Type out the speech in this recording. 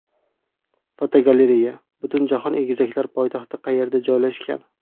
Fotogalereya: Butunjahon egizaklar poytaxti qayerda joylashgan?.